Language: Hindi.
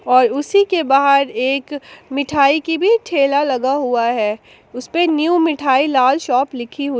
और उसी के बाहर एक मिठाई की भी ठेला लगा हुआ है उसपे न्यू मिठाई लाल शॉप लिखी हुई--